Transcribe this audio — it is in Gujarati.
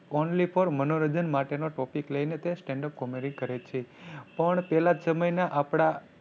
only for મનોરંજન માટે નો topic લઈને તે stand up comedy કરે છે પણ પેલા સમય ના આપડા